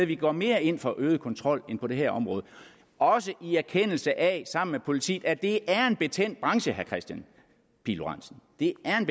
vi går mere ind for øget kontrol ind på det her område også i erkendelse af sammen med politiet at det er en betændt branche herre kristian pihl lorentzen det er en